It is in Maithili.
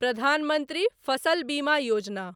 प्रधान मंत्री फसल बीमा योजना